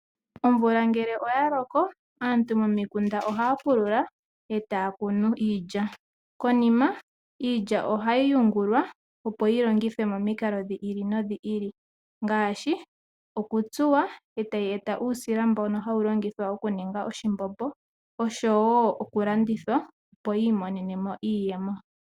Omvula ngele oya loko aantu momikunda ohaya pulula, e taya kunu iilya. Konima iilya ohayi yungulwa, opo yi longithwe momikalo dhi ili nodhi ili ngaashi okutsuwa e taku zi uusila mbono hawu longithwa okuninga oshimbombo nosho wo okulandithwa, opo yi imonene mo iiyemo.